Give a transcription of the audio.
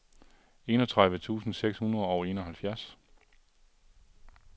enogtredive tusind seks hundrede og enoghalvfjerds